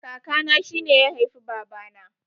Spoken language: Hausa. Kaka na shine ya haifi baba na